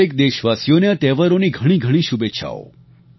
દરેક દેશવાસીઓને આ તહેવારોની ઘણી ઘણી શુભેચ્છાઓ